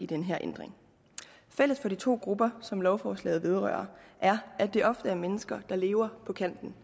den her ændring fælles for de to grupper som lovforslaget vedrører er at det ofte er mennesker der lever på kanten